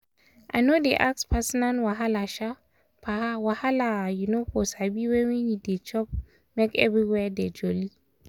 i no dey ask personal wahala um wahala um for sabi when we dey chop make everywhere dey jolly.